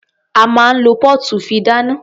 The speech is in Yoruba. A máa ń lo póòtù fi dáná.